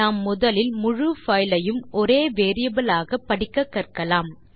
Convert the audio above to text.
நாம் முதலில் முழு பைல் ஐயும் ஒரே வேரியபிள் ஆக படிக்கக்கற்கலாம்